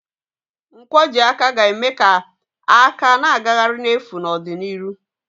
Nkwojiaka ga-eme ka aka na-agagharị n'efu n'ọdịnihu.